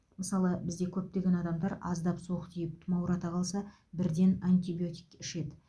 мысалы бізде көптеген адамдар аздап суық тиіп тұмаурата қалса бірден антибиотик ішеді